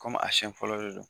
a siɲɛ fɔlɔ de don.